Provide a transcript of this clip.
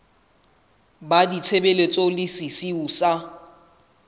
la ditshebeletso le sesiu sa